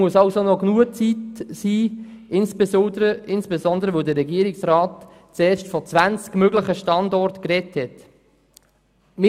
Die Zeit sollte also ausreichen, insbesondere wenn der Regierungsrat zuerst von 20 möglichen Standorten gesprochen hat.